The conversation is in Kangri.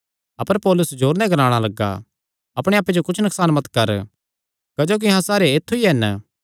अपर पौलुस जोरे नैं ग्लाणा लग्गा अपणे आप्पे जो कुच्छ नकसान मत कर क्जोकि अहां सारे ऐत्थु ई हन